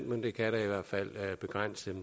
men det kan da i hvert fald begrænse